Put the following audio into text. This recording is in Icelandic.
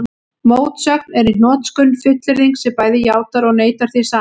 Mótsögn er í hnotskurn fullyrðing sem bæði játar og neitar því sama.